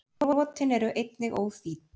Brotin eru einnig óþýdd.